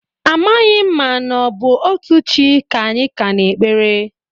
Amaghị m na ọ bụ otu chi ka anyị ka na-ekpere.